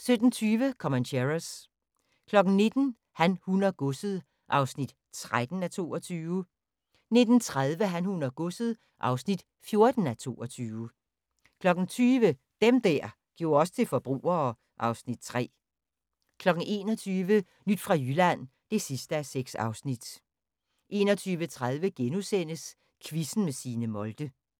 17:20: Comancheros 19:00: Han, hun og godset (13:22) 19:30: Han, hun og godset (14:22) 20:00: Dem der gjorde os til forbrugere (Afs. 3) 21:00: Nyt fra Jylland (6:6) 21:30: Quizzen med Signe Molde *